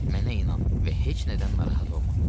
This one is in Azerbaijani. Mənə inan və heç nədən narahat olma.